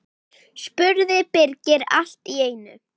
spurði Birkir allt í einu.